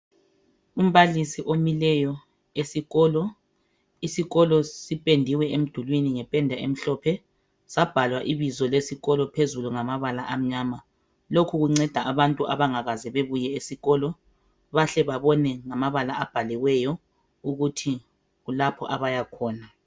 umbalisi omileyo esikolo isikolo sipendiwe emdulini ngependa emhlophe sabhalwa ibizo lesikolo phezulu ngamabala amnyama lokhu kunceda abantu abangakaze bebuye esikolo bahle babone ngamabala abhaliweyo ukuthi kulapho abaya khona